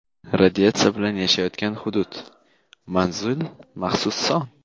Radiatsiya bilan yashayotgan hudud — Manzil | Maxsus son.